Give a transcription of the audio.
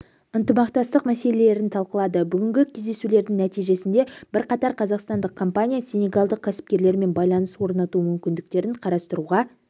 ынтымақтастық мәселелерін талқылады бүгінгі кездесулердің нәтижесінде бірқатар қазақстандық компания сенегалдық кәсіпкерлермен байланыс орнату мүмкіндіктерін қарастыруға